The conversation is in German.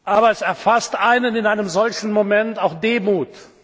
Aber es erfasst einen in einem solchen Moment auch Demut.